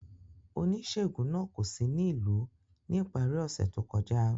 Onisegun naa ko si ni ilu ni ipari ose to kọja.